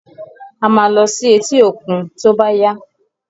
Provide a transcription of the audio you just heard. A máa lọ sí etí òkun tó bá yá.